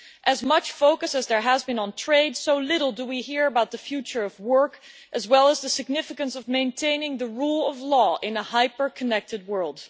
As much focus as there has been on trade, we hear little about the future of work, as well as the significance of maintaining the rule of law in a hyper connected world.